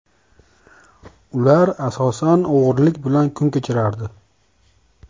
Ular asosan o‘g‘rilik bilan kun kechirardi.